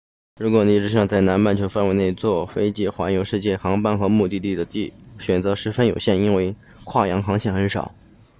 如果你只想在南半球范围内坐飞机环游世界航班和目的地的选择都十分有限因为跨洋航线很少